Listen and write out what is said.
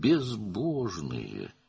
Allahsızdır.